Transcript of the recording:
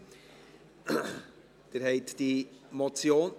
(Sie haben diese Motion …